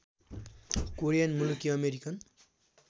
Korean मुलकी American